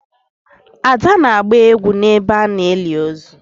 ada na-agba egwu n'ebe a na-eli ozu